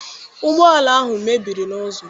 Ụgbọala ahụ mebiri n'ụzọ.